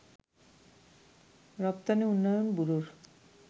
রপ্তানি উন্নয়ন ব্যুরোর